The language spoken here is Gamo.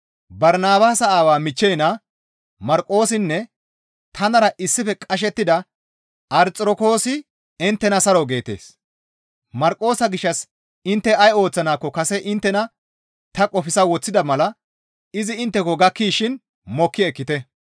Barnabaasa aawaa michchey naa Marqoosinne tanara issife qashettida Arxirokoosi inttena saro geettes. Marqoosa gishshas intte ay ooththanaakko kase inttena ta qofsa woththida mala izi intteko gakkishin iza mokki ekkite.